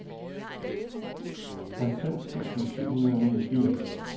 halvfems tusind syv hundrede og niogfirs